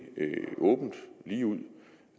åbent og ligeud